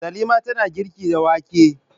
Salima tana girki da wake.